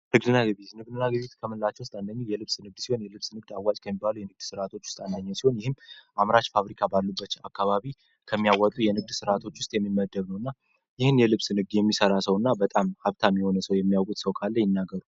ንግድና ግዥ ንግድና ግዥ ከምንላቸው ውስጥ አንደኛው የልብስ ንግድ ሲሆን የልብስ ንግድ አዋጅ ከሚባሉ የንግድ ሥርዓቶች ውስጥ አንደኛው ሲሆን ይህም አምራች ፋብሪካ ባሉበች አካባቢ ከሚያወጡ የንግድስ ሥርዓቶች ውስጥ የሚመደግነው እና ይህን የልብስ ንግድ የሚሠራ ሰው እና በጣም ሀብታም ሚሆነ ሰው የሚያወት ሰው ካላይ ይናገሩ።